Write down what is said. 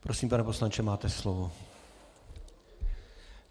Prosím, pane poslanče, máte slovo.